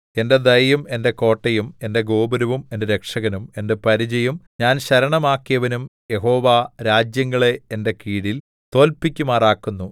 എന്റെ ദയയും എന്റെ കോട്ടയും എന്റെ ഗോപുരവും എന്റെ രക്ഷകനും എന്റെ പരിചയും ഞാൻ ശരണമാക്കിയവനും യഹോവ രാജ്യങ്ങളെ എന്റെ കീഴില്‍ തോല്പ്പിക്കുമാറാക്കുന്നു